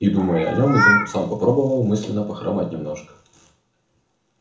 и думая о нём изумруд сам попробовал мысленно похромать немножко